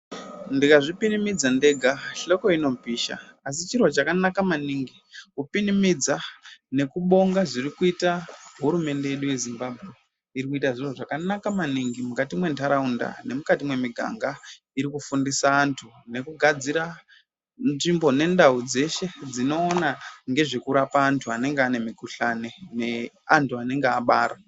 Ndikazvipirimidza ndega hloko inopisha. Asi chiro chakanaka maningi kupinimidza nokubonga zviri kuita hurumende yedu yeZimbabwe. Iri kuita zviro zvakanaka maningi mwukati mwentharaunda nemwukati mwemiganga iri kufundisa anthu nekugadzira nzvimbo nendau dzeshe dzinoona ngezvekurapa anthu anenge ane mikuhlani neanthu anenge abara.